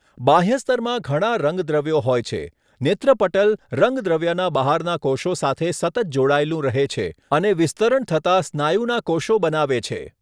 બાહ્ય સ્તરમાં ઘણાં રંગદ્રવ્યો હોય છે, નેત્રપટલ રંગદ્રવ્યના બહારના કોશો સાથે સતત જોડાયેલું રહે છે, અને વિસ્તરણ થતા સ્નાયુના કોશો બનાવે છે.